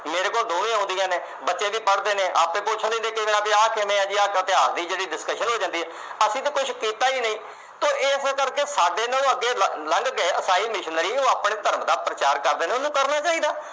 ਮੇਰੇ ਕੋਲ ਦੋਵੇਂ ਆਉਂਦੀਆਂ ਨੇ, ਬੱਚੇ ਵੀ ਪੜ੍ਹਦੇ ਨੇ। ਆਪੇ ਪੁੱਛਦੇ ਨੇ ਵੀ ਆ ਕਿਵੇਂ ਆ, ਆ ਇਤਿਹਾਸ ਦੀ ਜਿਹੜੀ discussion ਹੋ ਜਾਂਦੀ ਆ। ਅਸੀਂ ਤਾਂ ਕੁਛ ਕੀਤਾ ਈ ਨੀ ਤੇ ਇਸੇ ਕਰਕੇ ਸਾਡੇ ਨਾਲੋਂ ਅੱਗੇ ਲੰਘ ਗਏ ਈਸਾਈ Missionary । ਉਹ ਆਪਣੇ ਧਰਮ ਦਾ ਪ੍ਰਚਾਰ ਕਰਦੇ ਨੇ, ਉਹਨਾਂ ਨੂੰ ਕਰਨਾ ਚਾਹੀਦਾ।